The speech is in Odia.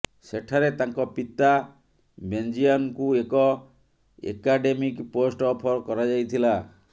ସେଠାରେ ତାଙ୍କ ପିତା ବେଂଜିଆନଙ୍କୁ ଏକ ଏକାଡେମିକ୍ ପୋଷ୍ଟ ଅଫର କରାଯାଇଥିଲା